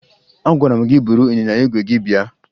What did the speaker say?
Agwara m gị buru ịnyịnya ígwè gị bịa!